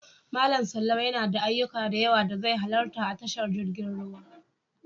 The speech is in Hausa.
Malam Sallau yana da ayyuka da yawa da zai halarta a tashar jirgin ruwa.